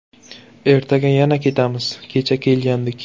Ertaga yana ketamiz, kecha kelgandik.